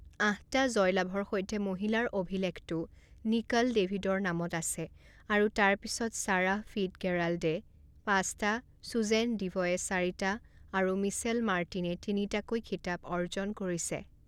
আঠটা জয়লাভৰ সৈতে মহিলাৰ অভিলেখটো নিকল ডেভিদৰ নামত আছে আৰু তাৰ পিছত চাৰাহ ফিটগেৰাল্ডে পাঁচটা, চুজেন ডিভয়ে চাৰিটা আৰু মিচেল মাৰ্টিনে তিনিটাকৈ খিতাপ অৰ্জন কৰিছে।